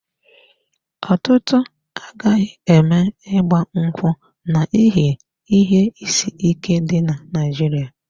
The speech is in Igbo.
Ọtụtụ agaghị eme agbamakwụkwọ n'ihi ihe isi ike dị na Naịjirịa.